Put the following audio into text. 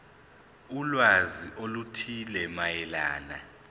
ulwazi oluthile mayelana